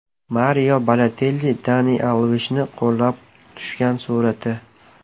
Mario Balotelli Daniel Alvesni qo‘llab tushgan surati.